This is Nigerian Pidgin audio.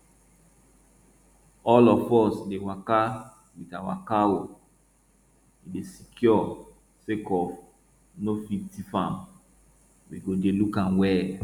all of us dey waka with our cow e dey secure sake of no fit thief am we go dey look am well